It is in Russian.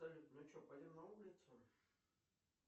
салют ну что пойдем на улицу